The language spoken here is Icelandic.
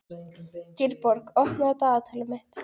Dýrborg, opnaðu dagatalið mitt.